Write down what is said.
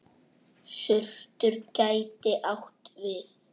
Surtur gæti átt við